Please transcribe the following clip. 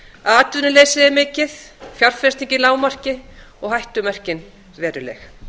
atvinnuleysi er mikið fjárfesting í lágmarki og hættumerkin veruleg